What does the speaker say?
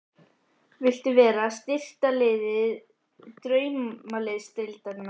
Viltu vera styrktaraðili Draumaliðsdeildarinnar?